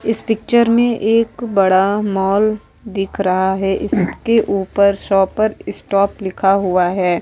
इस पिक्चर में एक बड़ा मॉल दिख रहा है इसके ऊपर शॉपर स्टॉप लिखा हुआ है।